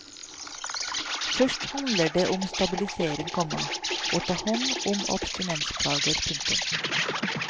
Først handler det om stabilisering, komma å ta hånd om abstinensplager. punktum